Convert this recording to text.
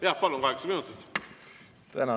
Jah, palun, kaheksa minutit!